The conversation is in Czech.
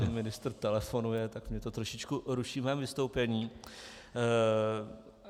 Pan ministr telefonuje, tak mě to trošičku ruší v mém vystoupení.